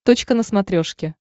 точка на смотрешке